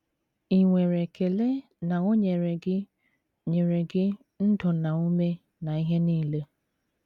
Ì nwere ekele na o nyere gị nyere gị “ ndụ na ume na ihe nile ”?